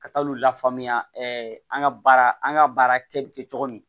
Ka taa olu la faamuya an ka baara an ga baara kɛ bi kɛ cogo min